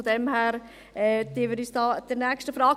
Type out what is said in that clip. Daher widmen wir uns der nächsten Frage.